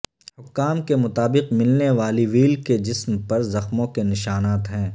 حکام کے مطابق ملنے والی وہیل کے جسم پر زخموں کے نشانات ہیں